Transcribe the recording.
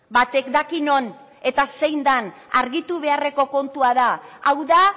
batek daki non eta zein den argitu beharreko kontua da hau da